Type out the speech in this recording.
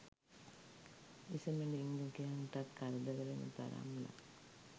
විශමලිංගිකයන්ටත් කරදර වෙන තරම්ලා